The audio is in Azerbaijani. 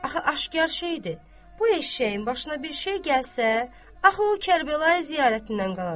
Axı aşkar şeydir, bu eşşəyin başına bir şey gəlsə, axı o Kərbəlaya ziyarətindən qalacaq.